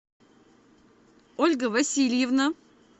ольга васильевна